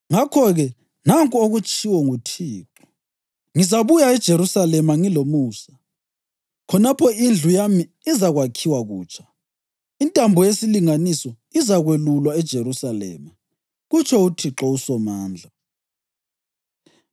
Ngakho-ke nanku okutshiwo nguThixo: ‘Ngizabuya eJerusalema ngilomusa, khonapho indlu yami izakwakhiwa kutsha. Intambo yesilinganiso izakwelulwa eJerusalema,’ kutsho uThixo uSomandla.